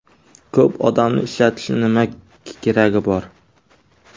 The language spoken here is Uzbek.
Ko‘p odamni ishlatishning nima keragi bor?